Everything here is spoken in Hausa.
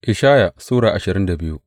Ishaya Sura ashirin da biyu